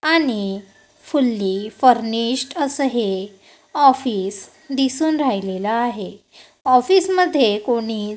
आणि fully furnished असं हे ऑफिस दिसून राहिलेला आहे ऑफिस मध्ये कोणी--